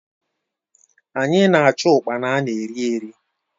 Anyị na-achụ ụkpana ana eri eri.